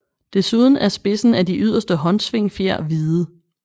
Desuden er spidsen af de yderste håndsvingfjer hvide